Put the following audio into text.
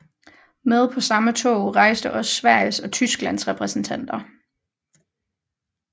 Med på samme tog rejste også Sveriges og Tysklands repræsentanter